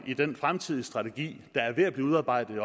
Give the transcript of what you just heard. i den fremtidige strategi der er ved at blive udarbejdet